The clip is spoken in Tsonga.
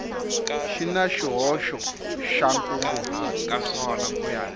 xi na xihoxo xa nkunguhato